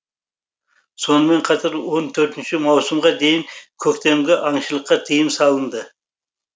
сонымен қатар он төртінші маусымға дейін көктемгі аңшылыққа тыйым салынды